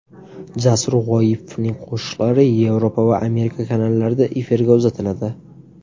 Jasur G‘oyipovning qo‘shiqlari Yevropa va Amerika kanallarida efirga uzatiladi.